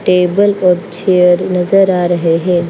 Table पर chair नजर आ रहे हैं।